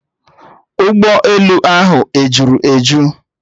Ụgbọelu ahụ ejuru eju?